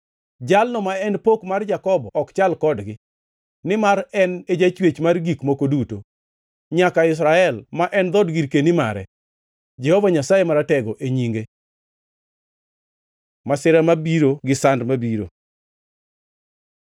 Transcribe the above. Jalno ma en Pok mar Jakobo ok chal kodgi, nimar en e Jachwech mar gik moko duto, nyaka Israel, ma en dhood girkeni mare, Jehova Nyasaye Maratego e nyinge. Masira mabiro gi sand mabiro